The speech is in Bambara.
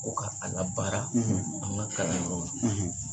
Ko ka a labaara, ,an ka kalanyɔrɔw la,